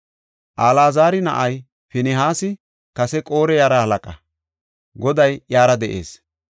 Alaazara na7ay Pinihaasi kase Qore yaraa halaqa; Goday iyara de7ees.